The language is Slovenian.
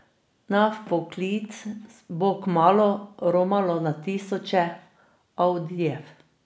Na vpoklic bo kmalu romalo na tisoče audijev.